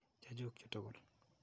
Che chuk chu tukul.